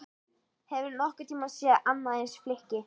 Hefurðu nokkurn tíma séð annað eins flykki?